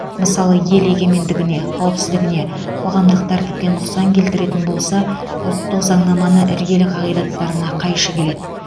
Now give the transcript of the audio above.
мысалы ел егенмендігіне қауіпсіздігіне қоғамдық тәртіпке нұқсан келтіретін болса ұлттық заңнаманың іргелі қағидаттарына қайшы келеді